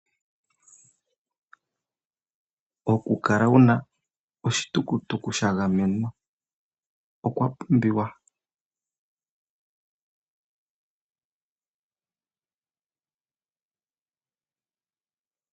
Okukala wuna oshitukutuku shagamenwa okwapumbiwa.